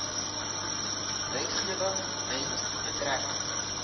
wetgewing met betrekking